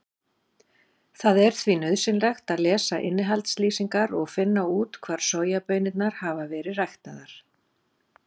Það er því nauðsynlegt að lesa innihaldslýsingar og finna út hvar sojabaunirnar hafa verið ræktaðar.